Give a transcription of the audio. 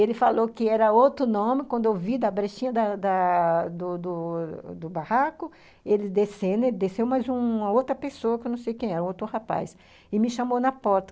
Ele falou que era outro nome, quando eu vi da brechinha da da do do do do barraco, ele descendo, ele desceu mais uma outra pessoa, que eu não sei quem era, um outro rapaz, e me chamou na porta.